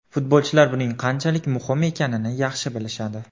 Futbolchilar buning qanchalar muhim ekanini yaxshi bilishadi.